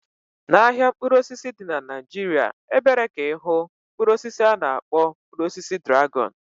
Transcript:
Na ahịa mkpụrụ osisi dị na Naijiria, ebere ike ịhụ Mkpụrụ osisi ana akpọ mkpụrụ osisi dragọn